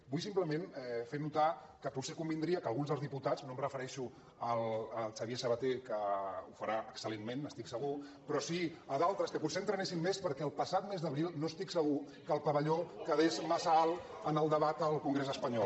vull simplement fer notar que potser convindria que alguns dels diputats no em refereixo al xavier sabaté que ho farà excel·lentment n’estic segur però sí a d’altres potser entrenessin més perquè el passat mes d’abril no estic segur que el pavelló quedés massa alt en el debat al congrés espanyol